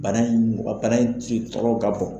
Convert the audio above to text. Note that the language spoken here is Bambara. Bana in mɔgɔ bana in trikitrɔkɔ ka bɔ.